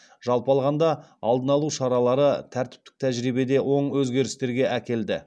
жалпы алғанда алдын алу шаралары тәртіптік тәжірибеде оң өзгерістерге әкелді